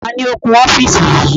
Taàní ó kun ọ́fíìsì yìí?